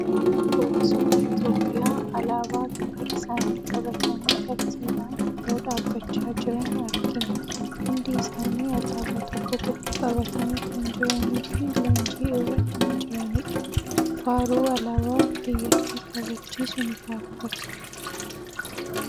Poolisoonni Itoophiyaa alaabaa biyya isaanii qabatanii tartiibaan yeroo dhaabbachaa jiran argina. Hundi isaanii alaabaa tokko tokko qabatanii kan jiranii fi leenjii irra kan jiranidha. Faaruu alaabaa biyyattii kabachiisu ni faarfatu.